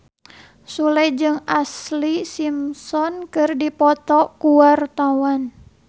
Sule jeung Ashlee Simpson keur dipoto ku wartawan